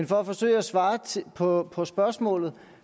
for at forsøge at svare på på spørgsmålet